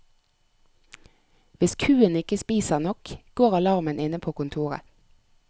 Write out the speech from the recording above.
Hvis kua ikke spiser nok, går alarmen inne på kontoret.